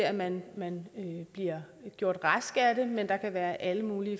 at man bliver gjort rask af den men der kan være alle mulige